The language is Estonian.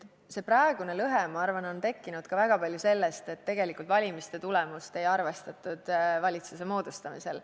See praegune lõhe, ma arvan, on tekkinud ka väga palju sellest, et tegelikult valimiste tulemust ei arvestatud valitsuse moodustamisel.